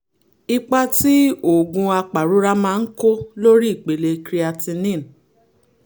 ipa tí oògùn apàrora máa ń kó lórí ipele creatinine